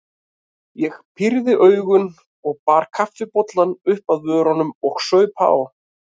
Ég pírði augun og bar kaffibollann upp að vörunum og saup á.